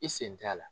I sen t'a la